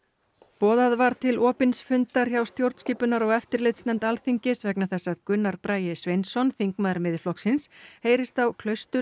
boðað var til opins fundar hjá stjórnskipunar og eftirlitsnefnd Alþingis vegna þess að Gunnar Bragi Sveinsson þingmaður Miðflokksins heyrist á